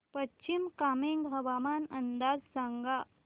पश्चिम कामेंग हवामान अंदाज सांगा